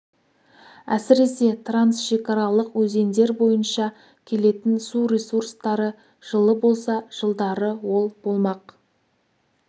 әсіресе трансшекаралық өзендер бойынша келетін су ресурстары жылы болса жылдары ол болмақ